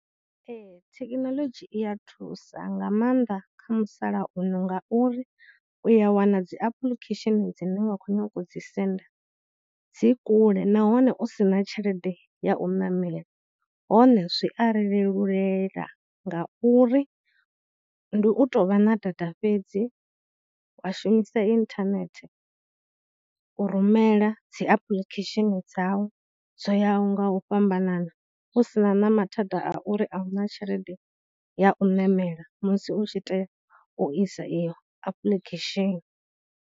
Ee, thekinoḽodzhi iya thusa nga maanḓa kha musalauno ngauri, uya wana dzi application dzine wa khou nyaga u dzi senda dzi kule nahone u sina tshelede ya u ṋamela, hone zwi a ri lelulela ngauri ndi u tou vha na data fhedzi, wa shumisa internet u rumela dzi apuḽikhesheni dzau dzo yaho nga u fhambanana husina na mathada a uri ahuna tshelede ya u ṋamela musi u tshi tea u isa iyo application.